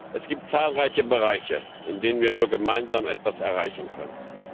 Es gibt zahlreiche Bereiche, in denen wir nur gemeinsam etwas erreichen können.